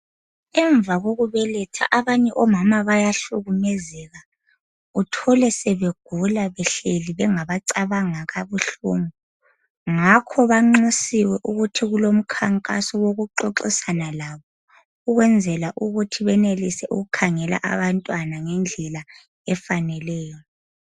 Emva kokubeletha abanye omama bayahlukumezeka uthole sebegula behleli bengabacabanga kakhulu, ngakho banxusiwe ukuthi kumkhankaso wokuxoxisana labo ukwenzela ukuthi benelise ukukhangela abantwana ngendlela efaneleyo